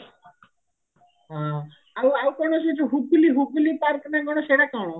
ହଁ ଆଉ ଆଉ କଣ ସେ ଯୋଉ ହୁଗୁଲି ହୁଗୁଲି park ନା କଣ ସେଟା କଣ